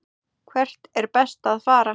Hvert er best að fara?